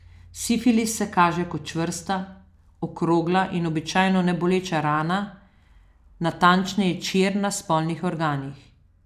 Sifilis se kaže kot čvrsta, okrogla in običajno neboleča rana, natančneje čir na spolnih organih.